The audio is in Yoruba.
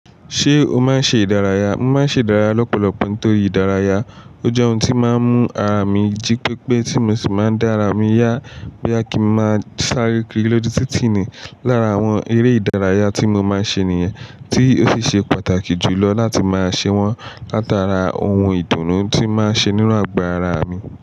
Ṣé o máa ń ṣe ìdárayá? Mo máa ń ṣe ìdárayá lọ́pọ̀lọpọ̀ nítorí ìdárayá ó jẹ́ ohun tí ó máa ń mú ara mi jí pépé tí mo sì máa ń dára mí yá boya kì í máa sáré kiri lọ́jú títì ni. Lára àwọn eré ìdárayá tí mo máa ń ṣe nìyẹn tí ó sì ṣe pàtàkì jù lọ láti máa ṣe wọ́n látàrá ohun ìdùnnú tí ó máa ń ṣe nínú àgbà ará mi.